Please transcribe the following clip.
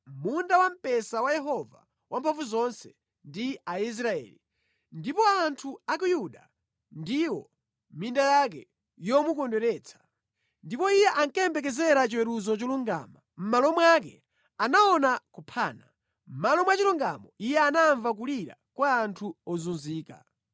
Munda wamphesa wa Yehova Wamphamvuzonse ndi Aisraeli, ndipo anthu a ku Yuda ndiwo minda yake yomukondweretsa. Ndipo Iye ankayembekezera chiweruzo cholungama, mʼmalo mwake anaona kuphana; mʼmalo mwa chilungamo Iye anamva kulira kwa anthu ozunzika.